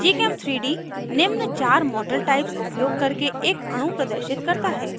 gchem3d निम्न चार model types उपयोग करके एक अणु प्रदर्शित करता है: